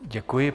Děkuji.